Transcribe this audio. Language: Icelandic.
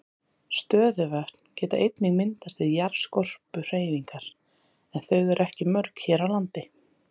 Stöðuvötn geta einnig myndast við jarðskorpuhreyfingar en þau eru ekki mörg hér á landi.